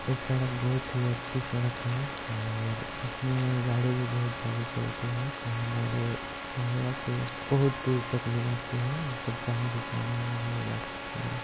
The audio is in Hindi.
इस सड़क बहुत ही अच्छी सड़क है और इसमें गाड़ी भी बहुत ज्यादा चलती है यह हमारे महीवा से बहुत दूर तक ले जाती है मतलब जहाँ भी जाना हो वहाँ ले जा सकती है।